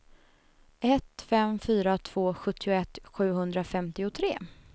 ett fem fyra två sjuttioett sjuhundrafemtiotre